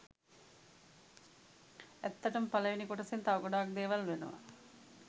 ඇත්තටම පලවෙනි කොටසෙත් තව ගොඩක් දෙවල් වෙනවා